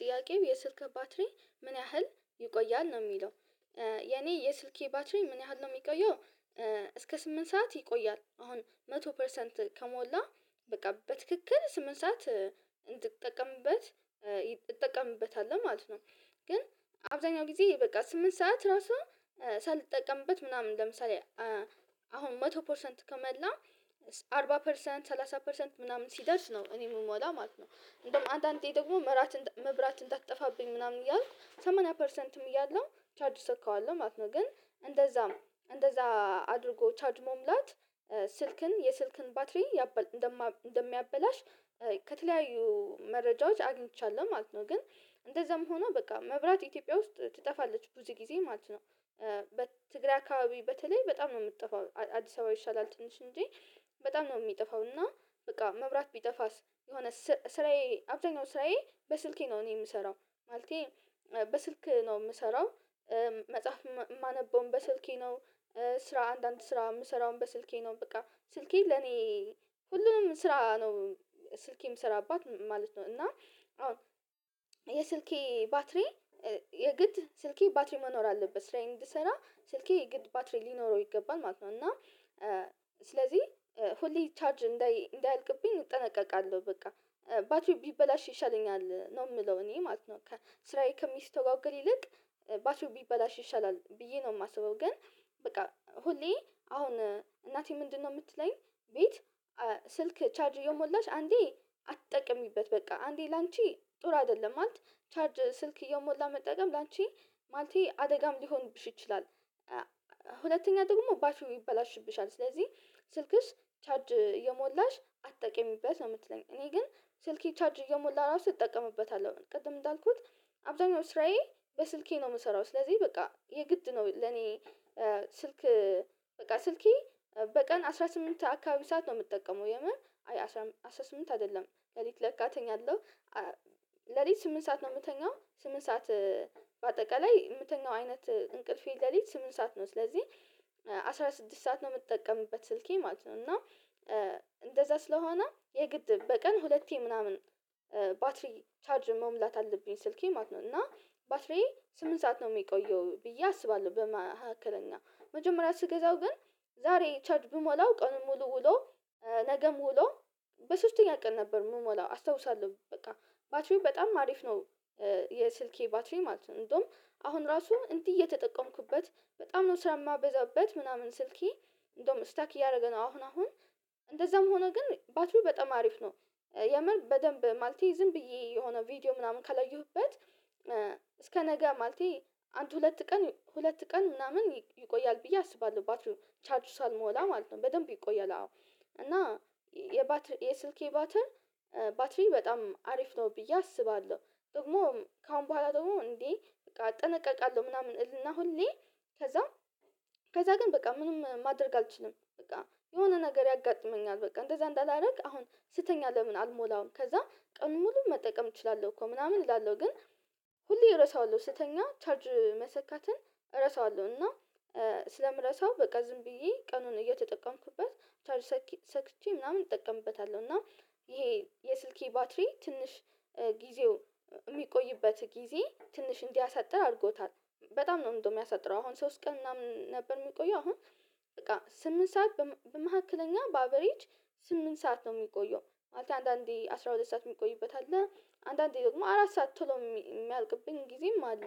ጥያቄው የስልክህ ባትሪ ምን ያህል ይቆያል ነው የሚለው? የኔ የስልኬ ባትሪ ምን ያህል ነው ሚቆየው? እስከ ስምንት ሰዓት ይቆያል አሁን መቶ ፐርሰንት ከሞላ በቃ በትክክል ስምንት ሰዓት እንድጠቀምበት እጠቀምበታለሁ ማለት ነው። ግን አብዛኛው ጊዜ በቃ ስምንት ሰዓት ራሱ ሳልጠቀምበት ምናምን ለምሳሌ አሁን መቶ ፐርሰንት ከመላ አርባ ፐርሰንት ሰላሳ ፐርሰንት ምናምን ሲደርስ ነው እኔ ምሞላ ማለት ነው። እንደውም አንዳንዴ ደግሞ መራት መብራት እንዳትጠፋብኝ ምናምን እያልኩ ሰማኛ ፐርሰንትም እያለው ቻርጅ እሰካዋለሁ ማለት ነው። ግን እንደዛም እንደዛ አድርጎ ቻርጅ መሙላት ስልክን የስልክን ባትሪ እንደሚያበላሽ ከተለያዩ መረጃዎች አግኝቻለሁ ማለት ነው። ግን እንደዛም ሆኖ በቃ መብራት ኢትዮጵያ ውስጥ ትጠፋለች ብዙ ጊዜ ማለት ነው። በትግራይ አካባቢ በተለይ በጣም ነው ምትጠፋው አዲስ አበባ ይሻላል ትንሽ እንጂ በጣም ነው ሚጠፋው። እና በቃ መብራት ቢጠፋስ የሆነ ስራዬ አብዛኛው ስራዬ በስልኬ ነው እኔ ምሰራው ማለቴ በስልክ ነው ምሰራው። መጽሐፍ ማነበውም በስልኬ ነው ስራ አንዳንድ ስራ ምሰራውም በስልኬ ነው በቃ ስልኬ ለኔ ሁሉንም ስራ ነው። ስልኬ ምሰራባት ማለት ነው። እና የስልኬ ባትሪ የግድ ስልኬ ባትሪ መኖር አለበት ስራየን እንድሰራ ስልኬ የግድ ባትሪ ሊኖረው ይገባል ማለት ነው። እና ስለዚህ ሁሌ ቻርጅ እንዳይ እንዳያልቅብኝ እጠነቀቃለሁ በቃ ባትሪ ቢበላሽ ይሻለኛል ነው ምለው እኔ ማለት ነው። ስራዬ ከሚስተጓገል ይልቅ ባትሪው ቢበላሽ ይሻላል ብዬ ነው። ማስበው ግን በቃ ሁሌ አሁን እናቴ ምንድነው ምትለኝ ቤት ስልክ ቻርጅ እየሞላሽ አንዴ አትጠቅሚበት በቃ አንዴ ላንቺ ጥሩ አይደለም ማለት ቻርጅ ስልክ እየሞላ መጠቀም ላንቺ ማለቴ አደጋም ሊሆንብሽ ይችላል። ሁለተኛ ደግሞ ባትሪ ይበላሽብሻል ስለዚህ ስልክስ ቻርጅ እየሞላሽ አትጠቅሚበት ነው የምትለኝ። እኔ ግን ስልኬ ቻርጅ እየሞላ ራሱ እጠቀምበታለሁ ቅድም እንዳልኩት አብዛኛው ስራዬ በስልኬ ነው ምሰራው ስለዚህ በቃ የግድ ነው ለኔ። ስልክ በቃ ስልኬ በቀን አስራ ስምንት አካባቢ ሰዓት ነው ምጠቀመው የምር አይ አስራ ስምንት አይደለም ሌሊት ለካ እተኛለሁ ሌሊት ስምንት ሰዓት ነው ምተኛው ስምንት ሰዓት በአጠቃላይ የምተኛው አይነት እንቅልፌ ለሊት ስምንት ሰዓት ነው ስለዚህ አስራ ስድስት ሰዓት ነው ምትጠቀምበት ስልኬ ማለት ነው። እና እንደዛ ስለሆነ የግድ በቀን ሁለቴ ምናምን ባትሪ ቻርጅ መሙላት አለብኝ ስልኬ ማለት ነው። እና ባትሪዬ ስምንት ሰዓት ነው ሚቆየው ብዬ አስባለሁ። በመካከለኛ መጀመሪያ ስገዛው ግን ዛሬ ቻርጅ ብሞላው ቀኑን ሙሉ ውሎ ነገም ውሎ በሶስተኛ ቀን ነበር ምሞላው አስታውሳለሁ። በቃ ባትሪው በጣም አሪፍ ነው የስልኬ ባትሪ ማለት ነው። እንደውም አሁን ራሱ እንዲህ እየተጠቀምኩበት በጣም ነው ስራ ማበዛበት ምናምን ስልኬ እንደውም ስታክ እያረገ ነው አሁን አሁን እንደዛም ሆኖ ግን ባትሪው በጣም አሪፍ ነው። የምር በደንብ ማለቴ ዝም ብዬ የሆነ ቪዲዮ ምናምን ካላየሁበት እስከ ነገ ማለቴ አንድ ሁለት ቀን ሁለት ቀን ምናምን ይቆያል ብዬ አስባለሁ ባትሪው ቻርጅ ሳልሞላ ማለት ነው። በደንብ ይቆያል አዎ እና የባት የስልኬ ባትር ባትሪ በጣም አሪፍ ነው ብዬ አስባለሁ። ደግሞ ከአሁን በኋላ ደግሞ እንዴ በቃ እጠነቀቃለሁ ምናምን እልና ሁሌ ከዛ ከዛ ግን በቃ ምንም ማድረግ አልችልም። በቃ የሆነ ነገር ያጋጥመኛል በቃ እንደዛ እንዳላረግ አሁን ስተኛ ለምን አልሞላውም ከዛ ቀን ሙሉ መጠቀም እችላለሁ። እኮ ምናምን እላለሁ ግን ሁሌ እረሳዋለሁ ስተኛ ቻርጅ መሰካትን እረሳዋለሁ እና ስለምረሳው በቃ ዝም ብዬ ቀኑን እየተጠቀምኩበት ቻርጅ ሰክቼ ምናምን እጠቀምበታለሁ። እና ይሄ የስልኬ ባትሪ ትንሽ ጊዜው ሚቆይበት ጊዜ ትንሽ እንዲያሳጥር አድርጎታል በጣም ነው እንደው ሚያሳጥረው አሁን ሶስት ቀን ምናምን ነበር የሚቆየው አሁን በቃ ስምንት ሰዓት በመካከለኛ በአቬሬጅ ስምንት ሰዓት ነው ሚቆየው። ማለት አንዳንዴ አስራ ሁለት ሰዓት ሚቆይበት አለ አንዳንዴ ደግሞ አራት ሰዓት ቶሎ ሚያልቅብኝ ጊዜም አለ።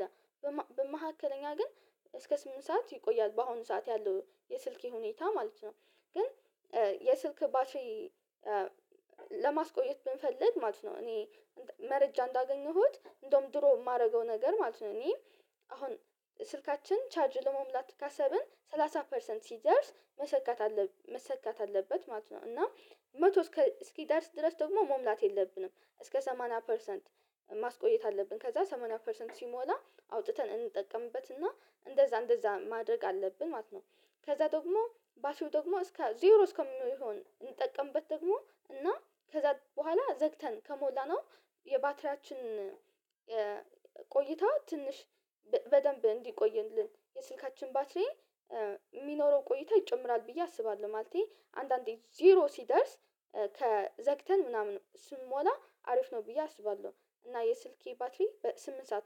በመካከለኛ ግን እስከ ስምንት ሰዓት ይቆያል በአሁኑ ሰዓት ያለው የስልኬ ሁኔታ ማለት ነው። ግን የስልክ ባትሪ ለማስቆየት ብንፈልግ ማለት ነው እኔ መረጃ እንዳገኘሁት እንደውም ድሮ ማረገው ነገር ማለት ነው። እኔ አሁን ስልካችን ቻርጅ ለመሙላት ካሰብን ሰላሳ ፐርሰንት ሲደርስ መሰካት አለብን መሰካት አለበት ማለት ነው። እና መቶ እስኪደርስ ድረስ ደግሞ መሙላት የለብንም እስከ ሰማንያ ፐርሰንት ማስቆየት አለብን ከዛ ሰማንያ ፐርሰንት ሲሞላ አውጥተን እንጠቀምበትና እንደዛ እንደዛ ማድረግ አለብን ማለት ነው። ከዛ ደግሞ ባትሪው ደግሞ እስከ ዜሮ እስከሚሆን እንጠቀምበት ደግሞ እና ከዛ በኋላ ዘግተን ከሞላነው የባትሪያችን ቆይታ ትንሽ በደንብ እንዲቆይልን የስልካችን ባትሪ የሚኖረው ቆይታ ይጨምራል። ብዬ አስባለሁ ማለቴ አንዳንዴ ዜሮ ሲደርስ ከዘግተን ምናምን ስንሞላ አሪፍ ነው ብዬ አስባለሁ። እና የስልኬ ባትሪ በስምንት ሰዓት ነው